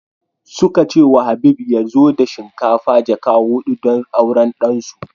Suka ce wa Habib ya zo da shinkafa jaka hudu don auran ɗan su